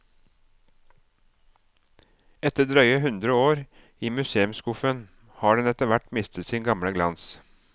Etter drøye hundre år i museumsskuffen har den etter hvert mistet sin gamle glans.